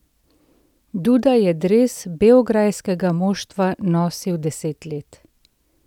Duda je dres beograjskega moštva nosil deset let.